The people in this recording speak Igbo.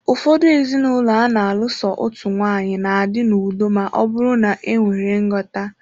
Ụfọdụ ezinụlọ ana alụ so otu nwaanyị, na-adị n'udo ma ọ bụrụ na enwere nghọta.